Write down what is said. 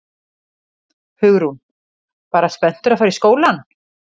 Hugrún: Bara spenntur að fara í skólann?